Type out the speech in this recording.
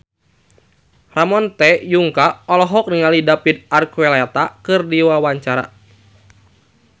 Ramon T. Yungka olohok ningali David Archuletta keur diwawancara